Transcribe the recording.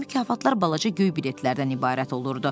Bu mükafatlar balaca göy biletlərdən ibarət olurdu.